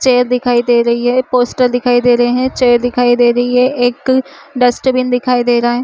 Chair दिखाई दे रही है पोस्टर दिखाई दे रही है चेयर दिखाई दे रही है एक डस्टबिन दिखाई दे रहा है।